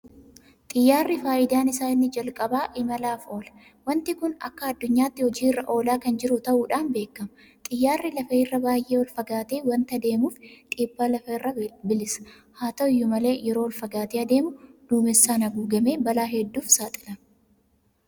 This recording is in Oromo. Xiyyaarri faayidaan isaa inni jalqabaa imalaaf oola. Waanti kun akka addunyaatti hojii irra oolaa kan jiru ta'uudhaan beekama. Xiyyaarri lafa irraa baay'ee olfagaatee waanta deemuuf dhiibbaa lafaa irraa bilisa. Haata'u iyyuu malee yeroo ol fagaatee adeemu duumessaan haguugamee balaa hedduudhaaf saaxilama.